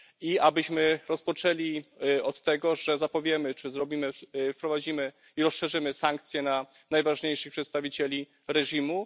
I abyśmy rozpoczęli od tego, że zapowiemy, czy wprowadzimy i rozszerzymy sankcje na najważniejszych przedstawicieli reżimu.